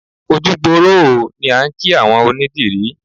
Ojú gbooró ooo ni à ń kí àwọn onídìrí